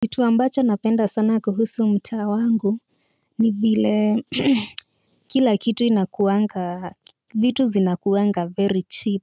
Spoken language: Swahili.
Kitu ambacho napenda sana kuhusu mtaa wangu ni vile kila kitu kinakuwanga vitu zinakuwanga very cheap.